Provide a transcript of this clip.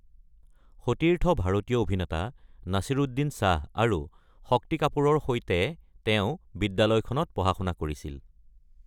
সতীৰ্থ ভাৰতীয় অভিনেতা নাছীৰুদ্দিন শ্বাহ আৰু শক্তি কাপুৰৰ সৈতে তেওঁ বিদ্যালয়খনত পঢ়া-শুনা কৰিছিল।